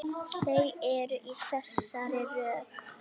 Þau eru í þessari röð: